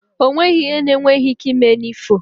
O nweghi ihe na-enweghi ike ime n’ifo